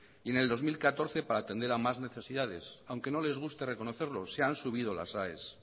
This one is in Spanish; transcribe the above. y en el dos mil catorce para atender a más necesidades aunque no les guste reconocerlo se han subido las aes